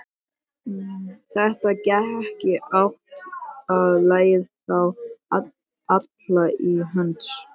Það gat ekki átt að leiða þá alla til höggs.